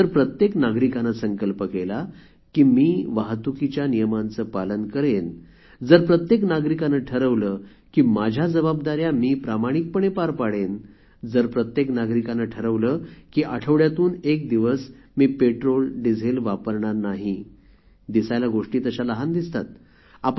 जर प्रत्येक नागरिकाने संकल्प केला की मी वाहतुकीच्या नियमांचे पालन करेन जर प्रत्येक नागरिकाने ठरवले की माझ्या जबाबदाऱ्या प्रामाणिकपणे पार पाडेन जर प्रत्येक नागरिकाने ठरवले की आठवड्यातून एक दिवस मी पेट्रोलडिझेल वापरणार नाही दिसायला गोष्टी तशा लहान दिसतात